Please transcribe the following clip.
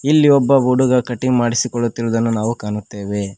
ಇಲ್ಲಿ ಒಬ್ಬ ಹುಡುಗ ಕಟಿಂಗ್ ಮಾಡಿಸಿಕೊಳ್ಳುತ್ತಿರುದನ್ನು ನಾವು ಕಾಣುತ್ತೆವೆ.